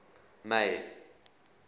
may